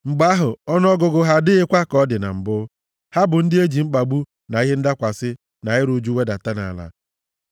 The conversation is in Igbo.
Mgbe ahụ, ọnụọgụgụ ha adịghịkwa ka ọ dị na mbụ, ha bụ ndị e ji mkpagbu na ihe ndakwasị na iru ụjụ wedata nʼala;